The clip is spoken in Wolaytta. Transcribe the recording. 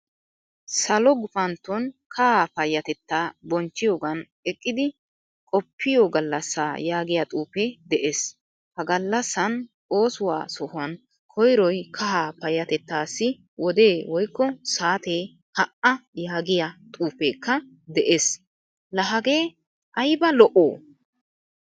Salo gufanto kahaa payatetta bonchchiyogan eqqidi qoppiyo gallasa yaagiyaa xuufe de'ees. Ha gallasan oosuwaa sohuwan koyroy kahaa payatettassi wode woykko saate ha'a yaagiyaa xuufekka de'ees. La hagee ayba Lo''o?